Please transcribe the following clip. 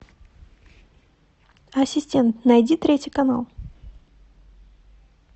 ассистент найди третий канал